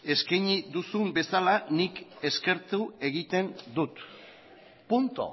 eskaini duzun bezala nik eskertu egiten dut punto